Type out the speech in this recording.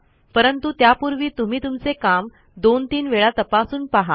परंतु त्यापूर्वी तुम्ही तुमचे काम दोन तीन वेळा तपासून पहा